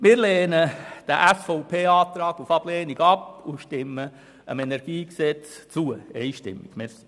Wir lehnen diesen SVP-Antrag auf Ablehnung ab und stimmen dem KEnG einstimmig zu.